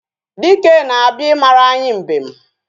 Dike na-abịa ịmara anyị mbem